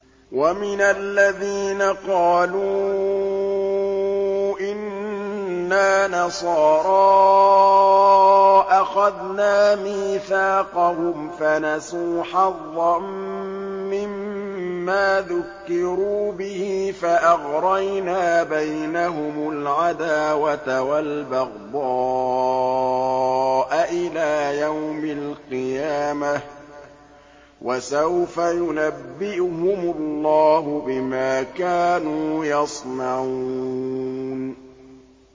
وَمِنَ الَّذِينَ قَالُوا إِنَّا نَصَارَىٰ أَخَذْنَا مِيثَاقَهُمْ فَنَسُوا حَظًّا مِّمَّا ذُكِّرُوا بِهِ فَأَغْرَيْنَا بَيْنَهُمُ الْعَدَاوَةَ وَالْبَغْضَاءَ إِلَىٰ يَوْمِ الْقِيَامَةِ ۚ وَسَوْفَ يُنَبِّئُهُمُ اللَّهُ بِمَا كَانُوا يَصْنَعُونَ